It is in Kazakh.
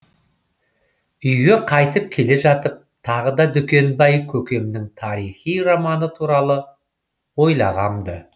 үйге қайтып келе жатып тағы да дүкенбай көкемнің тарихи романы туралы ойлағам ды